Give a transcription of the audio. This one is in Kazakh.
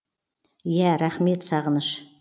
ия рахмет сағыныш